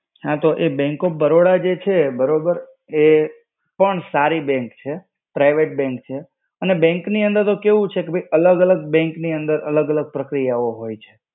હા તો એ Bank of Baroda જે છે, બરાબર, એ પણ સારી bank છે. Private bank છે. અને bank ની અંદર તો કેવું છે કે ભૈ અલગ-અલગ bank ની અંદર અલગ-અલગ પ્રક્રિયાઓ હોય છે